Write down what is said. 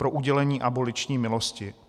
Pro udělení aboliční milosti?